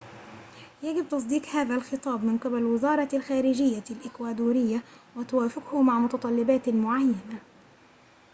يجب تصديق هذا الخطاب من قبل وزارةِ الخارجيةِ الإكوادورية وتوافقه مع متطلباتٍ معينة